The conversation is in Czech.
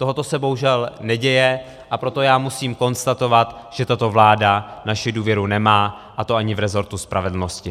Tohle se bohužel neděje, a proto já musím konstatovat, že tato vláda naši důvěru nemá, a to ani v resortu spravedlnosti.